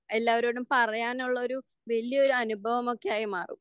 എല്ലാവരോടും പറയാനുള്ള ഒരു വലിയ ഒരു അനുഭവം ഒക്കെ ആയി മാറും.